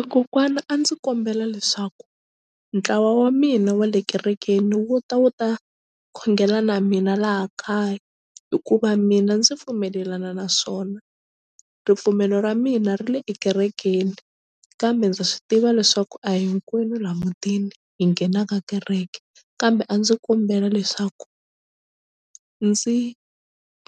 E kokwana a ndzi kombela leswaku ntlawa wa mina wa le kerekeni wu ta wu ta khongela na mina laha kaya hikuva mina ndzi pfumelelana naswona ripfumelo ra mina ri le ekerekeni kambe ndza swi tiva leswaku a hinkwenu la mutini hi nghenaka kereke kambe a ndzi kombela leswaku ndzi